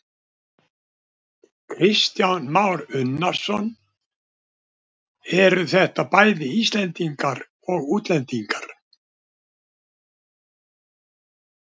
Kristján Már Unnarsson: Eru þetta bæði Íslendingar og útlendingar?